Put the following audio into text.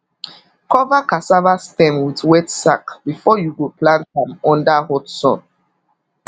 cover cassava stem with wet sack before you go plant am under hot sun